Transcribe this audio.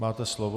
Máte slovo.